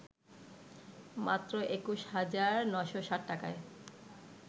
মাত্র ২১ হাজার ৯০৭ টাকায়